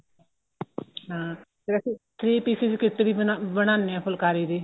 ਹਾਂ ਫੇਰ ਅਸੀਂ three pieces kit ਵੀ ਬਣਾਨੇ ਆ ਫੁਲਕਾਰੀ ਦੀ